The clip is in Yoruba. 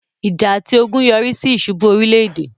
ìjà àti ogun yọrísí ìsubú orílẹ̀-èdè